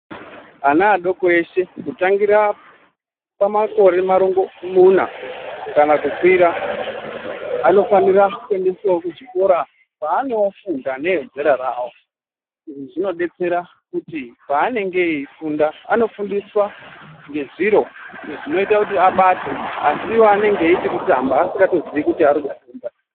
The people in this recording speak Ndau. Ana adoko eshe kutangira pamakore marongomuna kana kukwira anofanira kuendeswawo kuzvikoro kwaanofunda neezera rawo. Izvi zvinodetsera kuti paanenge eifunda anofundiswa ngezviro zvinoita kuti abate asi iwo anenge eiti kutamba asingatozii kuti kufunda.